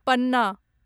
पन्ना